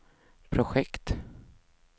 projekt